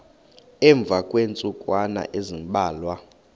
emva kweentsukwana ezimbalwa